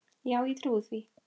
Já, ég trúi því.